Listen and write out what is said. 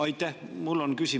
Aitäh!